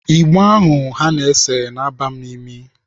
Igbo ahụ ha na-ese na-aba m n'imi.